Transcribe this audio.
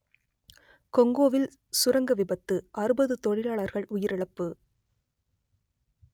கொங்கோவில் சுரங்க விபத்து அறுபது தொழிலாளர்கள் உயிரிழப்பு